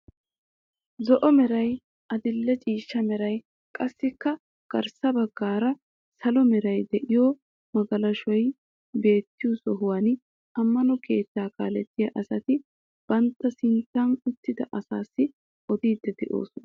Zo'o meray, adil"e ciishsha meray qassi garssa baggaara salo meray de'iyoo magalashoy beettiyoo sohuwaan ammano keettaa kalettiyaa asati bantta sinttan uttida asawu odiidi de'oosona.